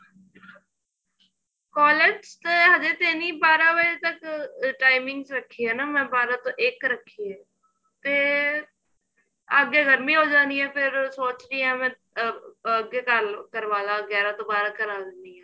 college ਤੇ ਹਜੇ ਤੇ ਨੀ ਬਾਰਾਂ ਵਜੇ ਤੱਕ timing ਰੱਖੀ ਏ ਨਾ ਮੈਂ ਬਾਰਾਂ ਤੋਂ ਇੱਕ ਰੱਖੀ ਏ ਤੇ ਅੱਗੇ ਗਰਮੀ ਹੋ ਜਾਣੀ ਏ ਫੇਰ ਸੋਚ ਰਹੀ ਆ ਫੇਰ ਅਹ ਅੱਗੇ ਕਰਵਾਲਾ ਗਿਆਰਾ ਤੋਂ ਬਾਰਾਂ ਕਰਾ ਲੈਣੀ ਆ